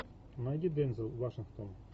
найди дензел вашингтон